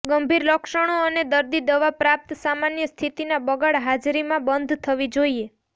ગંભીર લક્ષણો અને દર્દી દવા પ્રાપ્ત સામાન્ય સ્થિતિના બગાડ હાજરી માં બંધ થવી જોઈએ